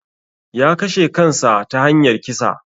Ya kashe kansa ta hanyar kisa